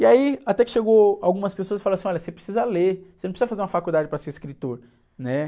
E aí até que chegou algumas pessoas e falaram assim, olha, você precisa ler, você não precisa fazer uma faculdade para ser escritor, né?